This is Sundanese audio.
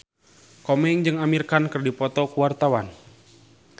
Komeng jeung Amir Khan keur dipoto ku wartawan